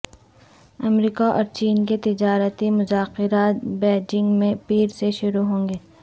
امریکااور چین کے تجارتی مذاکرات بیجنگ میں پیر سے شروع ہونگے